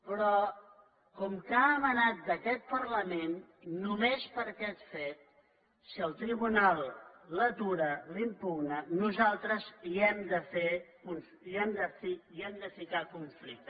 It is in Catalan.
però com que ha emanat d’aquest parlament només per aquest fet si el tribunal l’atura la impugna nosaltres hi hem de fer hi hem de ficar conflicte